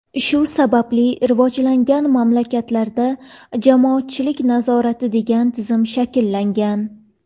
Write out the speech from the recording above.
Shu sababli rivojlangan mamlakatlarda jamoatchilik nazorati degan tizim shakllangan.